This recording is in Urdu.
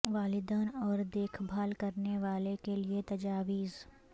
والدین اور دیکھ بھال کرنے والے کے لئے تجاویز